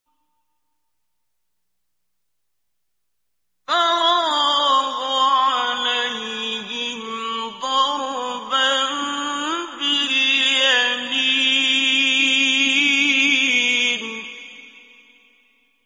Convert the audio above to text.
فَرَاغَ عَلَيْهِمْ ضَرْبًا بِالْيَمِينِ